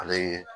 Ale ye